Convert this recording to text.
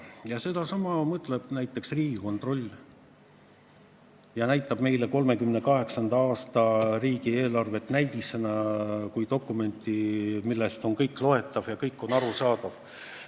Ja sedasama mõtleb ka Riigikontroll, kes näitas meile 1938. aasta riigieelarvet kui näidisdokumenti, milles on kõik loetav ja kõik on arusaadav.